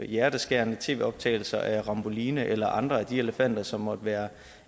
hjerteskærende tv optagelser af ramboline eller andre af de elefanter som måtte være